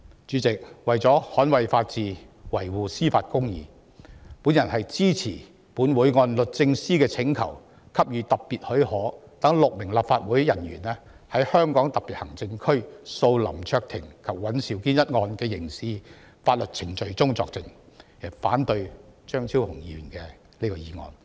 主席，為了捍衞法治、維護公義，我支持本會按律政司的請求給予特別許可，讓6名立法會人員在香港特別行政區訴林卓廷及尹兆堅一案的刑事法律程序中作證，反對張超雄議員這項議案。